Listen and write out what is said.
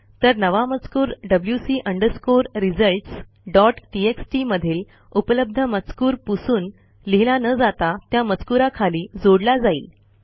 तर नवा मजकूर WC underscore results dot TXT मधील उपलब्ध मजकूर पुसून लिहिला न जाता त्या मजकूराखाली जोडला जाईल